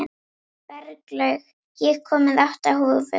Berglaug, ég kom með átta húfur!